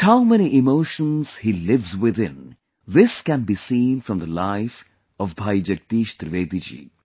But how many emotions he lives within, this can be seen from the life of Bhai Jagdish Trivedi ji